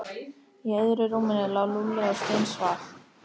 Í öðru rúminu lá Lúlli og steinsvaf.